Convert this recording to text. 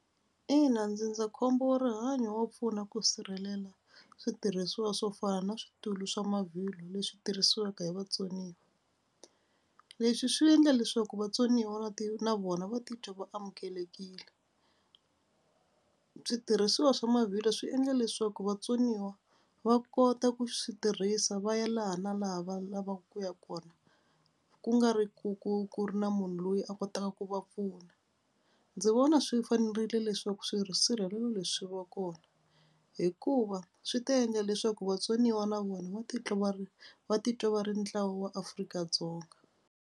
Ina ndzindzakhombo wa rihanyo wa pfuna ku sirhelela switirhisiwa swo fana na switulu swa mavhilwa leswi tirhisiwaka hi vatsoniwa. Leswi swi endla leswaku vatsoniwa va ti na vona va titwa va amukelekile. Switirhisiwa swa mavhilwa swi endle leswaku vatsoniwa va kota ku swi tirhisa va ya laha na laha va lavaka ku ya kona ku nga ri ku ku ku ri na munhu loyi a kotaka ku va pfuna. Ndzi vona swi fanerile leswaku swisirhelelo leswi va kona hikuva swi ta endla leswaku vatsoniwa na vona va titwa va ri va titwa va ri ntlawa wa Afrika-Dzonga.